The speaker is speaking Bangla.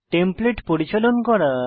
টেমপ্লেট পরিচালন করা